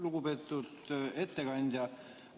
Lugupeetud ettekandja!